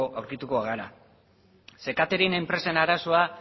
aurkituko gara catering enpresen arazoa